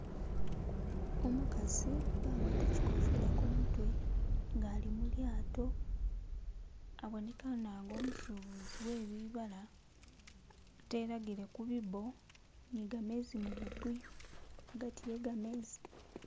umukasi nga agwata chikofila kumutwe nga ali mulyato abonekana nga umusubuzi webibala atelagile kubibo nigamezi mububuyu agati yegamezi